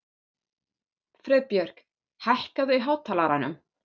Friðbjörg, hækkaðu í hátalaranum.